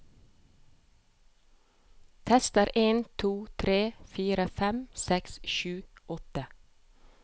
Tester en to tre fire fem seks sju åtte